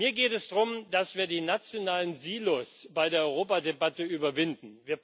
Mir geht es darum, dass wir die nationalen Silos bei der Europadebatte überwinden.